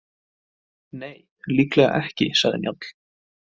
Nei, líklega ekki, sagði Njáll.